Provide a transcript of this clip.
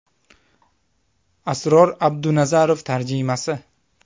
Asror Abdunazarov tarjimasi !